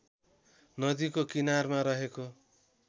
नदीको किनारामा रहेको